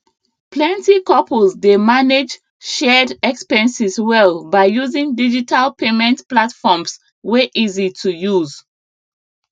plenty couples dey manage shared expenses well by using digital payment platforms wey easy to use